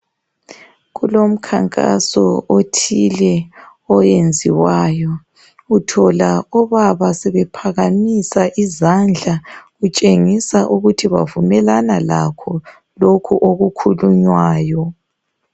Kulomkhankaso othile oyenziwayo uthola obaba sebephakamisa izandla kutshengisa ukuthi bavumelana lakho lokhu okukhulunywayo.